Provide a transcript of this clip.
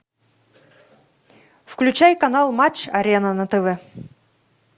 включай канал матч арена на тв